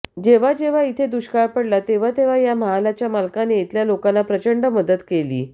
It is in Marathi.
जेव्हा जेव्हा इथं दुष्काळ पडला तेव्हा या महालाच्या मालकाने इथल्या लोकांना प्रचंड मदत केली